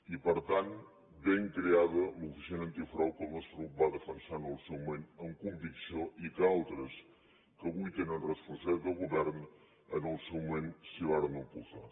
i per tant ben creada l’oficina antifrau que el nostre grup va defensar en el seu moment amb convicció i que altres que avui tenen responsabilitat de govern en el seu moment s’hi varen oposar